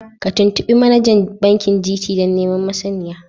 Ka tuntubi manajan bankin GT dan neman masaniya.